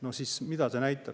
No mida see näitab?